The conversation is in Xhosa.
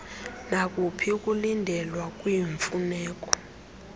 nakuphi ukulindelwa kwiimfuneko